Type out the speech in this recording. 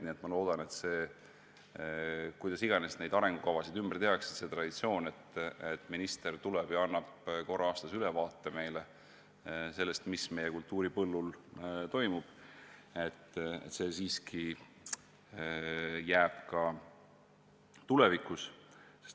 Nii et ma loodan, et kuidas iganes neid arengukavasid ka ümber ei tehta, see traditsioon, et minister tuleb siia ja annab korra aastas ülevaate, mis meie kultuuripõllul toimub, siiski jääb ka tulevikus.